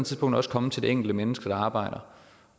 tidspunkt også komme til det enkelte menneske der arbejder